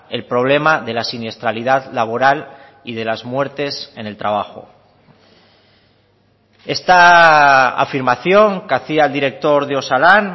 el problema de la siniestralidad laboral y de las muertes en el trabajo esta afirmación que hacía el director de osalan